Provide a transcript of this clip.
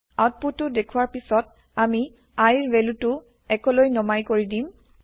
output টো দেখুৱাৰ পিছত আমি I ৰ ভেলু টো ১ লৈ নমাই কৰি দিম